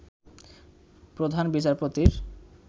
প্রধান বিচারপতির